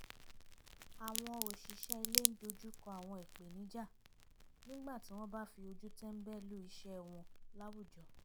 àwọn òṣìṣẹ́ ilé ń dojúkọ àwọn ìpènijà nígbà tí wọ́n bá fi ojú tẹ́ńbẹ́lú iṣẹ́ wọn láwùjọ